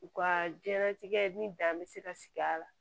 U ka diɲɛnatigɛ ni dan bɛ se ka sigi a la